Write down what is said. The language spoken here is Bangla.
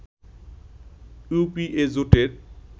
ইউপিএ জোটের